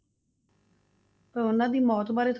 ਉਹਨਾਂ ਦੀ ਮੌਤ ਬਾਰੇ,